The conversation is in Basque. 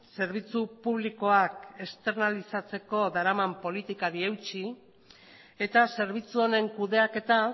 zerbitzu publikoak esternalizatzeko daraman politikari eutsi eta zerbitzu honen kudeaketa